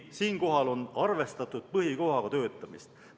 Siinkohal on arvestatud põhikohaga töötamist.